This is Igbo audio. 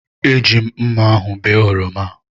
Eji m mmá ahụ bee oroma.